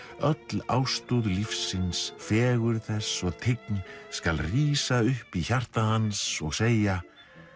öll ástúð lífsins fegurð þess og tign skal rísa upp í hjarta hans og segja